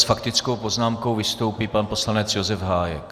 S faktickou poznámkou vystoupí pan poslanec Josef Hájek.